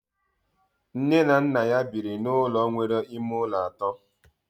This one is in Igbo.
Nne na nna ya biri n'ụlọ nwere ime ụlọ atọ